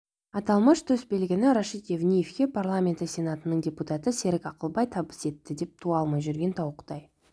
аталмыш төсбелгіні рашид евниевке парламенті сенатының депутаты серік ақылбай табыс етті деп туа алмай жүрген тауықтай